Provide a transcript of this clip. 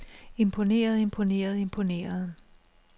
imponeret imponeret imponeret